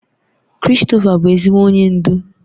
Christopher bụ ezigbo onye ndu